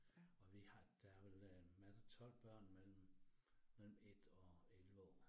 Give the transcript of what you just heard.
Og vi har der vel øh masse 12 børn mellem mellem 1 og 11 år